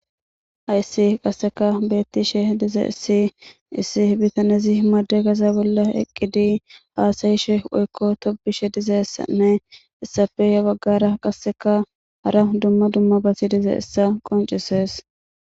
Hayssi qasseka bettishe dize issi issi bitanezi himade gaza bolla eqqidi haasayishe woykko tobishe dizessanne issafeya baggara qasseka hara dumma dumma basi dize issa qoncises